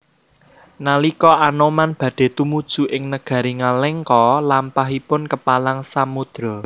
Nalika Anoman badhe tumuju ing negari Ngalengka lampahipun kepalang samudra